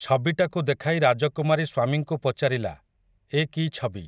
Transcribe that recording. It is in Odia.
ଛବିଟାକୁ ଦେଖାଇ ରାଜକୁମାରୀ ସ୍ୱାମୀଙ୍କୁ ପଚାରିଲା, ଏ କି ଛବି ।